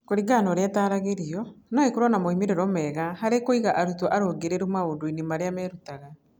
Kũringana na ũrĩa ĩtaaragĩrio, no ĩkorũo na moimĩrĩro mega harĩ kũiga arutwo arũngĩrĩru maũndũ-inĩ marĩa merutaga.